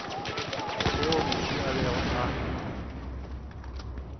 yeo mohu a bego a